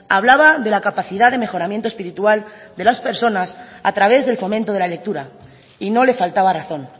hablaba de la capacidad de mejoramiento espiritual de las personas a través del fomento de la lectura y no le faltaba razón